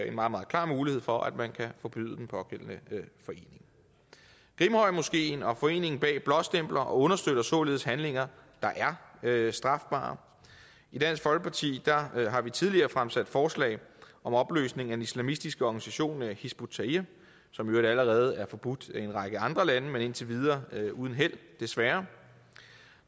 en meget meget klar mulighed for at forbyde den pågældende forening grimhøjmoskeen og foreningen bag blåstempler og understøtter således handlinger der er strafbare i dansk folkeparti har vi tidligere fremsat forslag om opløsning af en islamistisk organisation hizb ut tahrir som i øvrigt allerede er forbudt i en række andre lande men indtil videre uden held desværre